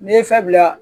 N'i ye fɛn bila